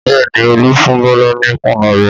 Bẹ́ẹ̀ ni, Olú fún Bọ́lá ní kùnú rẹ̀.